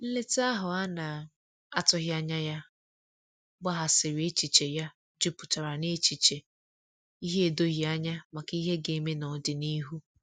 Nleta ahu ana atughi anya ya gbaghasiri echiche ya juputara na echiche ihe edoghi anya maka ihe ga-eme n'odịnihu